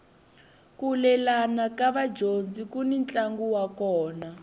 ku lelana ka vadyondzi kuni ntlangu wa kona